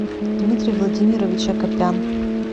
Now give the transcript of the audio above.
дмитрий владимирович акопян